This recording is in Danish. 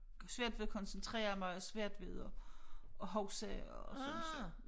Svært ved at koncentrere mig og svært ved at at huske og sådan så